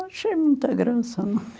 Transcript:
Achei muita graça, não.